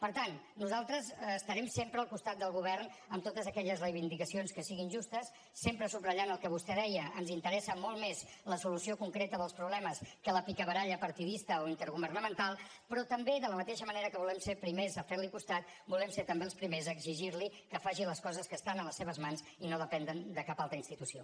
per tant nosaltres estarem sempre al costat del govern en totes aquelles reivindicacions que siguin justes sempre subratllant el que vostè deia ens interessa molt més la solució concreta dels problemes que la picabaralla partidista o intergovernamental però també de la mateixa manera que volem ser primers a fer li costat volem ser també els primers a exigir li que faci les coses que estan a les seves mans i no depenen de cap altra institució